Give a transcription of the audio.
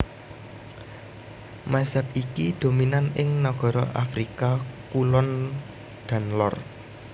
Mazhab iki dominan ing nagara nagara Afrika Kulon dan Lor